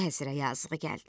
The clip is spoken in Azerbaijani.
Vəzirə yazığı gəldi.